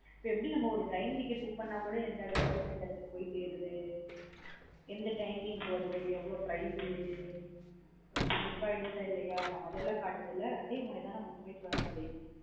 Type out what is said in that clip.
இப்ப எப்டி நம்ம ஒரு train ticket book பண்ண கூட எந்த இடது லா இருந்து எந்த இடத்துக்கு போய் சேருது. எந்த timing க்கு வருது, எவ்ளோ price உ இது book ஆய்டுச்சா இல்லையா. அந்த மாத்ரி எல்லாம் காட்டுதுள்ள அதே மாத்ரி தான் book my show app லயும்.